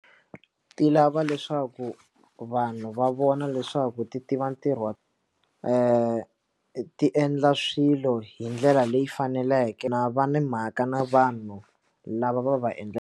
Ti lava leswaku vanhu va vona leswaku ti tiva ntirho wa ti endla swilo hi ndlela leyi faneleke na va na mhaka na vanhu lava va va endla.